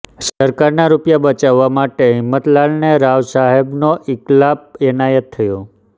સરકારના રૂપિયા બચાવવા માટે હિંમતલાલને રાવ સાહેબનો ઇકલાબ એનાયત થયો